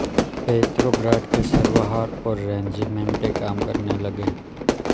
पेत्रोग्राद के सर्वहारा और रेजीमेंटें काम करने लगे